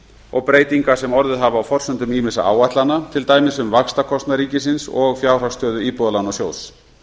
og breytinga sem orðið hafa á forsendum ýmissa áætlana til dæmis um vaxtakostnað ríkisins og fjárhagsstöðu íbúðalánasjóðs